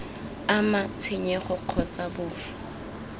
ama tshenyego kgotsa b fa